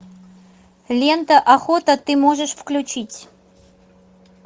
лента охота ты можешь включить